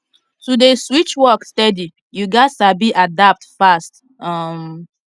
to dey switch work steady you gats sabi adapt fast um